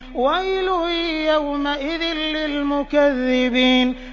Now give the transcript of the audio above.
وَيْلٌ يَوْمَئِذٍ لِّلْمُكَذِّبِينَ